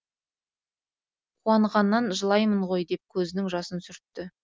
қуанғаннан жылаймын ғой деп көзінің жасын сүртті